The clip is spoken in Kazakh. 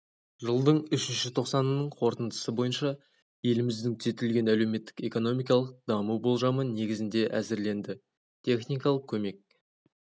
жылдың үшінші тоқсанының қорытындысы бойынша еліміздің түзетілген әлеуметтік экономикалық даму болжамы негізінде әзірленді техникалық көмек